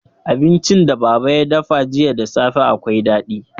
Abincin da baba ya dafa jiya da safe akwai daɗi.